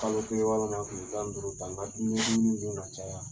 Kalo kelen walima kile tan ni duuru ,ka n ka dumuni dumuni dun ka caya.